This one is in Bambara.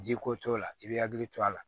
Ji ko t'o la i b'i hakili to a la